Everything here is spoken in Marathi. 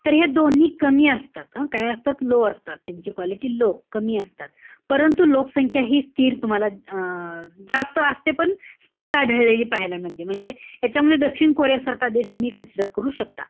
तर हे दोन्ही कमी असतात. हं? काय असतात? low असतात. त्यांची quality low कमी असतात. परंतु, लोकसंख्या हि स्थिर तुम्हाला अं जास्त असते पण स्थिर आढळलेली पाहायला मिळते. म्हणजे ह्यांच्यामध्ये दक्षिण कोरिया सारखा देश तुम्ही consider कर शकता.